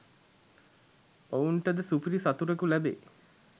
ඔවුන්ට ද සුපිරි සතුරෙකු ලැබෙයි